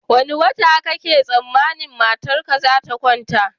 Wane wata kake tsammanin matarka zata kwanta?